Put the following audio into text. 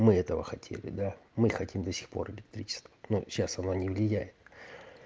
мы этого хотели да мы хотим до сих пор электричество но сейчас оно не влияет